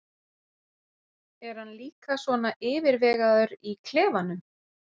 Er hann líka svona yfirvegaður í klefanum?